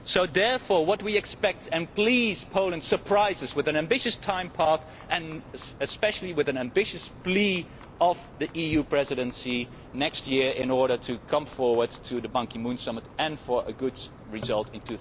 Therefore, what we expect and please, Poland, surprise us is an ambitious timeline and, especially, an ambitious plea from the EU Presidency next year in order to move forward to the Ban Ki moon summit and to have a good result in